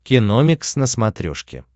киномикс на смотрешке